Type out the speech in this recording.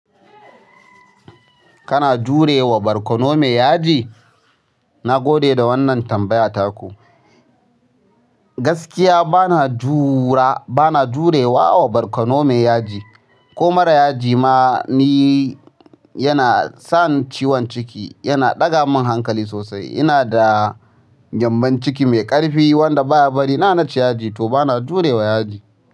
Kana jurewa barkono mai yaji? Nagode da wannan tambaya taku. Gaskiya bana jurewa barkono mai yaji, ko mara yaji ma. Nagode da wannan tambaya taku inada gembon ciki mai ƙarfi wanda baya barina naci yaji toh bana jurewa yaji.